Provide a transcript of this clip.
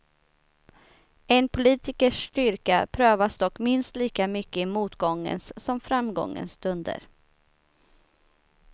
En politikers styrka prövas dock minst lika mycket i motgångens som framgångens stunder.